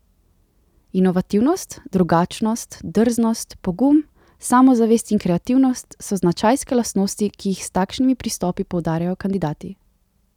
Inovativnost, drugačnost, drznost, pogum, samozavest in kreativnost so značajske lastnosti, ki jih s takšnimi pristopi poudarjajo kandidati.